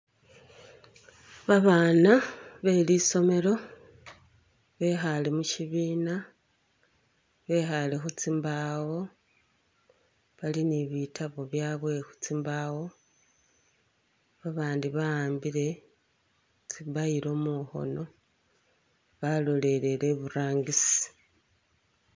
Ba bana be lisomelo bekhale mushibiina bekhale khutsimbaawo bali ni bitabo byawe khu tsimbawo ba bandi ba'ambile tsi bile mukhono balolelele iburangisi.